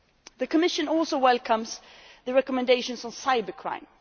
The Commission also welcomes the recommendations on cybercrime.